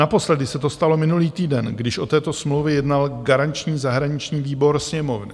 Naposledy se to stalo minulý týden, když o této smlouvě jednal garanční zahraniční výbor Sněmovny.